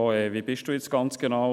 «Was bist du jetzt genau?